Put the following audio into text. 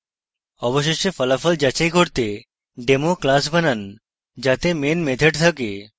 অবশেষে ফলাফল যাচাই করতে demo class বানান যাতে main method থাকে